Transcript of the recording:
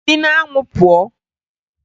Si n'anwụ pụọ!